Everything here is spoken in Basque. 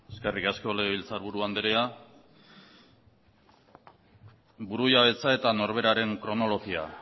eskerrik asko legebiltzarburu andrea burujabetza eta norberaren kronologia